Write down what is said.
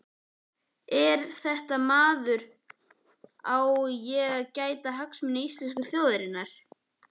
Er þetta maður sem á að gæta hagsmuna íslensku þjóðarinnar?